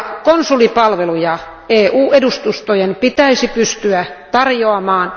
Konsulipalveluja EU edustustojen pitäisi pystyä tarjoamaan.